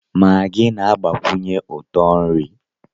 Maggi na-agbakwụnyekwu ụtọ nri